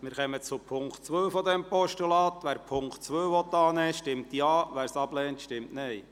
Wer die Ziffer 2 als Postulat annehmen will, stimmt Ja, wer dies ablehnt, stimmt Nein.